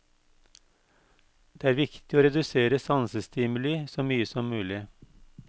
Det er viktig å redusere sansestimuli så mye som mulig.